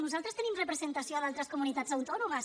nosaltres tenim representació a d’altres comunitats autònomes